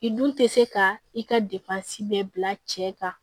I dun tɛ se ka i ka bɛɛ bila cɛ kan